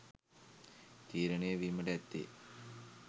තීරණය වීමට ඇත්තේ.